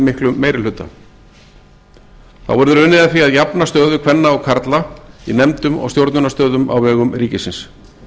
miklum meiri hluta þá verður unnið að því að jafna stöðu kvenna og karla í nefndum og stjórnunarstöðum á vegum ríkisins